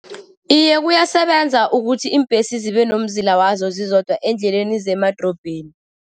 Iye, kuyasebenza ukuthi iimbhesi zibe nomzila wazo zizodwa eendleleni zemadorobheni.